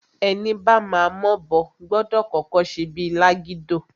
Ẹni bama m'obo, gbọdọ̀ kọ́kọ́ ṣe bíi lágídò.